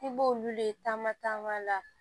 I b'olu le taama taama la